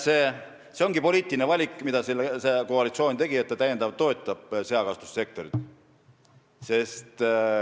See ongi poliitiline valik, mille see koalitsioon on teinud, et ta täiendavalt toetab seakasvatussektorit.